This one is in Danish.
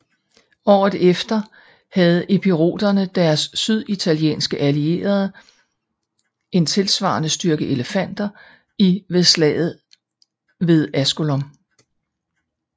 Året efter havde epiroterne og deres syditalienske allierede en tilsvarende styrke elefanter i ved slaget ved Asculum